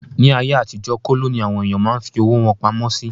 Ní ayé àtijó, kóló ní àwọn èèyàn máa ń fí owó wọn pamọ́ sí